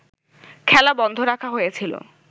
খেলা বন্ধ রাখা হয়েছিল